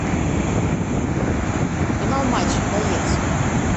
канал матч боец